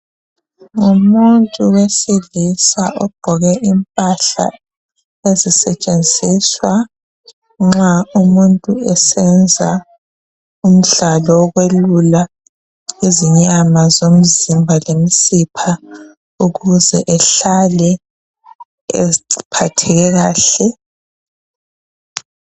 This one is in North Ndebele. Ngabantu beailisa abagqoke imphahla ezisetshenziswa nxa umuntu esenza imidlalo yokwelula izinyama zomzimba lemisiphi ukuze umuntu ahlale ephatheke kahle.